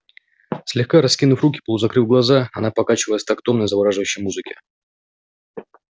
слегка раскинув руки полузакрыв глаза она покачивалась в такт томной завораживающей музыке